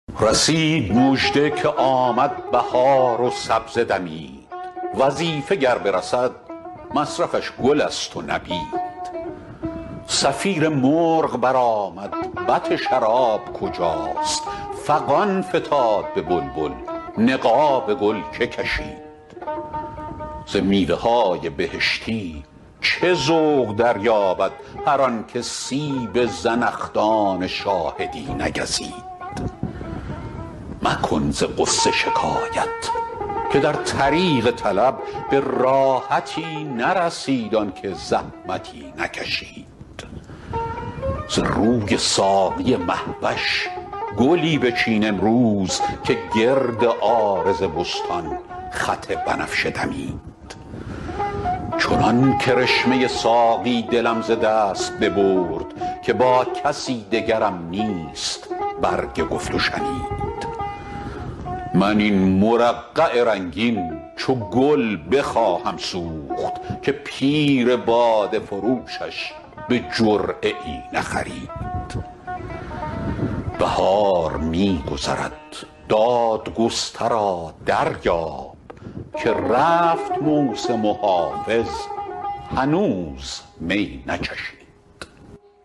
رسید مژده که آمد بهار و سبزه دمید وظیفه گر برسد مصرفش گل است و نبید صفیر مرغ برآمد بط شراب کجاست فغان فتاد به بلبل نقاب گل که کشید ز میوه های بهشتی چه ذوق دریابد هر آن که سیب زنخدان شاهدی نگزید مکن ز غصه شکایت که در طریق طلب به راحتی نرسید آن که زحمتی نکشید ز روی ساقی مه وش گلی بچین امروز که گرد عارض بستان خط بنفشه دمید چنان کرشمه ساقی دلم ز دست ببرد که با کسی دگرم نیست برگ گفت و شنید من این مرقع رنگین چو گل بخواهم سوخت که پیر باده فروشش به جرعه ای نخرید بهار می گذرد دادگسترا دریاب که رفت موسم و حافظ هنوز می نچشید